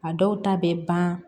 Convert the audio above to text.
A dɔw ta bɛ ban